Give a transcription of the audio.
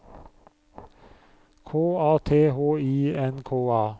K A T H I N K A